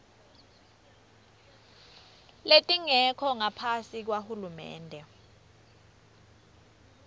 letingekho ngaphasi kwahulumende